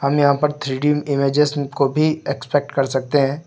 यहां पर three D images को भी एक्सपेक्ट कर सकते हैं।